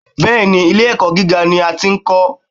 Bẹ́ẹ̀ni, ilé ẹ̀kọ́ gíga ni a ti ń kọ.